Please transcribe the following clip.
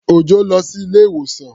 Òjọ́ lọ sí ilé-ìwòsàn.